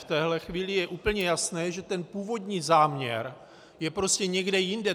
V téhle chvíli je úplně jasné, že ten původní záměr je prostě někde jinde.